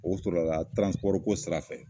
O sɔrɔla ko sira fɛ.